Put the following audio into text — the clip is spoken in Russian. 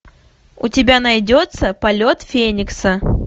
у тебя найдется полет феникса